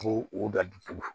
Ko o da dusukun